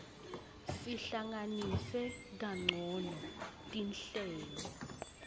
sihlanganise kancono tinhlelo